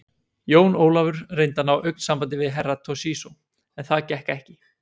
Jón Ólafur reyndi að ná augnsambandi við Herra Toshizo, en það gekk ekki.